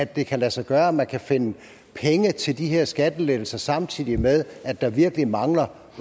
det kan lade sig gøre at man kan finde penge til de her skattelettelser samtidig med at der virkelig mangler